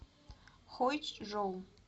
хойчжоу